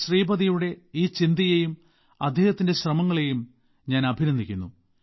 ശ്രീപതിയുടെ ഈ ചിന്തയെയും അദ്ദേഹത്തിന്റെ ശ്രമങ്ങളെയും ഞാൻ അഭിനന്ദിക്കുന്നു